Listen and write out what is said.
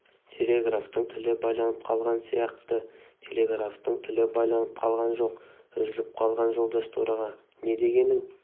телеграфтың тілі байланып қалған сияқты телеграфтың тілі байланып қалған жоқ үзіліп қалған жолдас төраға не дегенің